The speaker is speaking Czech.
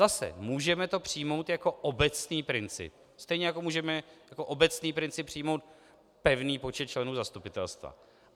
Zase - můžeme to přijmout jako obecný princip, stejně jako můžeme jako obecný princip přijmout pevný počet členů zastupitelstva.